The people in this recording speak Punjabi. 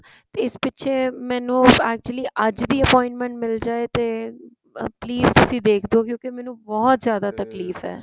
ਤੇ ਇਸ ਪਿਛੇ ਮੈਨੂੰ actually ਅੱਜ ਦੀ appointment ਮਿੱਲ ਜਾਏ ਤੇ please ਤੁਸੀਂ ਦੇਖਦੋ ਗਏ ਕਿਉਕੀ ਮੈਨੂੰ ਬਹੁਤ ਜਿਆਦਾ ਤਕਲੀਫ਼ ਏ